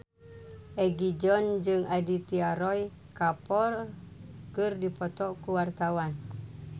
Egi John jeung Aditya Roy Kapoor keur dipoto ku wartawan